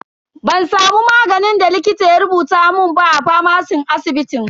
Ban samu maganin da likita ya rubuta mun ba a famacin asibitin.